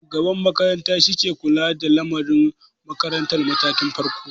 Shugaban makaranta shi ke kula da lamari makarantar matakin farko.